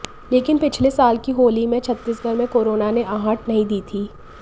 लेकिन पिछले साल की होली में छत्तीसगढ़ में कोरोना ने आहट नहीं दी थी